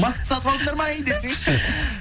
маска сатып алдыңдар ма ей десеңші